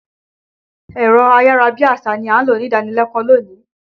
Ẹ̀rọ ayàra bí àṣá ni a lò nídànílẹ́kọ̀ọ́ lónìí.